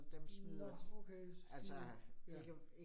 Nåh okay, de ja